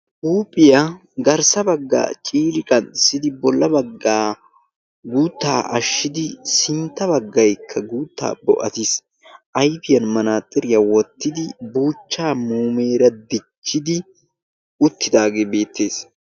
Huuphiya garssa baggaara ciiri qanxxissidi bolla baggaa guuttaa ashshidi sintta baggaykka guuttaa bo"atis. Ayfiyan manaaxiriya wottidi buuchchaa muumeera dichchidi uttidaagee beettes.